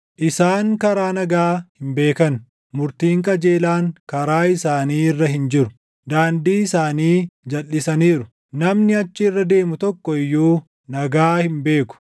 Isaan karaa nagaa hin beekan; murtiin qajeelaan karaa isaanii irra hin jiru. Daandii isaanii jalʼisaniiru; namni achi irra deemu tokko iyyuu nagaa hin beeku.